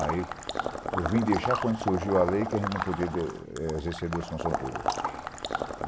Aí, eu vim deixar quando surgiu a lei que a gente não podia é exercer duas funções públicas.